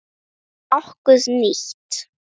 Er nokkuð nýtt?